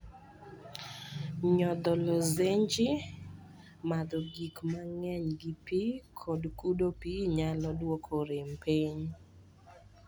Nyotho lozenje, madho gik mang�eny gi pi, kod kudo pi nyalo dwoko rem piny.